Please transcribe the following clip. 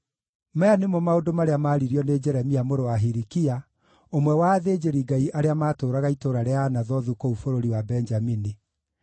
Maya nĩmo maũndũ marĩa maaririo nĩ Jeremia, mũrũ wa Hilikia, ũmwe wa athĩnjĩri-Ngai arĩa maatũũraga itũũra rĩa Anathothu kũu bũrũri wa Benjamini.